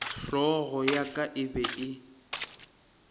hlogo ya ka e be